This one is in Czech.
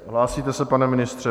Hlásíte se, pane ministře?